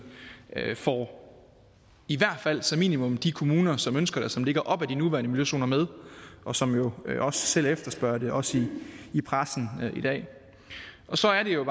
får i hvert fald som minimum de kommuner som ønsker det og som ligger op ad de nuværende miljøzoner med og som jo også selv efterspørger det også i pressen i dag så er det jo